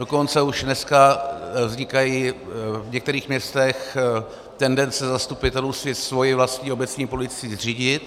Dokonce už dneska vznikají v některých městech tendence zastupitelů si svoji vlastní obecní policii zřídit.